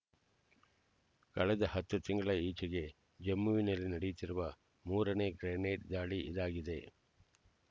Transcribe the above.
ಕಳೆದ ಹತ್ತು ತಿಂಗಳ ಈಚೆಗೆ ಜಮ್ಮುವಿನಲ್ಲಿ ನಡೆಯುತ್ತಿರುವ ಮೂರನೇ ಗ್ರೆನೇಡ್ ದಾಳಿ ಇದಾಗಿದೆ